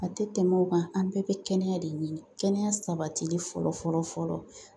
A tɛ tɛmɛ o kan, an bɛɛ bɛ kɛnɛya de ɲini kɛnɛya sabatili fɔlɔ fɔlɔ fɔlɔ